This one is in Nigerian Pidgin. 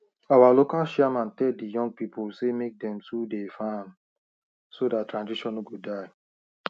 our local chairman tell the young people say make dem too dey farm so dat tradition no go die